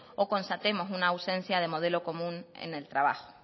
o constatemos una ausencia de modelo común en el trabajo